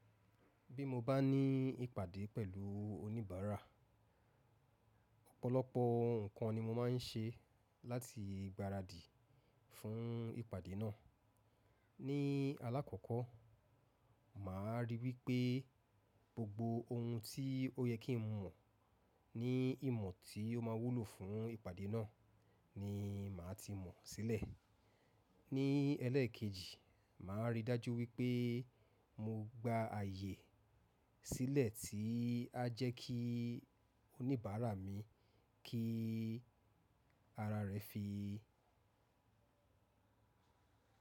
Bí mo bá ní ìpàdé pẹ̀lú oníbàárà, ọ̀pọ̀lọpọ̀ nǹkan ni mo máa ń ṣe láti gbaradì fún ìpàdé náà. Ni alakọ́kọ́, màá ríi wípé gbogbo ohun tí ó yẹ kí n mọ̀ ni ìmọ̀ tí ó máa wúlò fún ìpàdé náà ni màá ti mọ̀ sílẹ̀. Ni ẹlẹ́ẹ̀kejì, màá ríi dájú wípé mo gba ààyè sílẹ̀ tí a jẹ́ kí oníbàárà mi kí ara rẹ̀ fi.